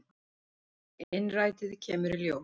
Innrætið kemur í ljós.